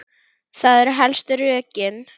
Það eru helstu rökin.